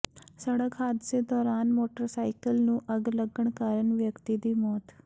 ਸੜਕ ਹਾਦਸੇ ਦੌਰਾਨ ਮੋਟਰਸਾਈਕਲ ਨੂੰ ਅੱਗ ਲੱਗਣ ਕਾਰਨ ਵਿਅਕਤੀ ਦੀ ਮੌਤ